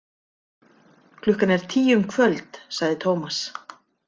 Klukkan er tíu um kvöld, sagði Tómas.